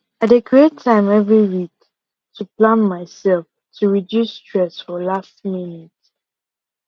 i dey create time every week to plan myself to reduce stress for last minute